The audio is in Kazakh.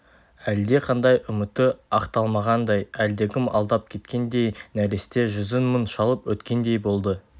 әлдеқандай үміті ақталмағандай әлдекім алдап кеткендей нәресте жүзін мұң шалып өткендей болды